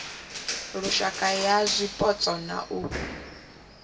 lushaka ya zwipotso na u